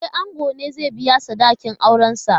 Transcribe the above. E, ango ne zai biya sadakin aurensa.